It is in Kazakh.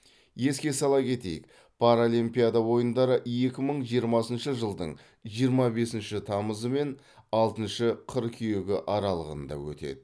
еске сала кетейік паралимпиада ойындары екі мың жиырмасыншы жылдың жиырма бесінші тамызы мен алтыншы қыркүйегі аралығында өтеді